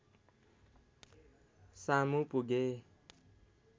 सामु पुगे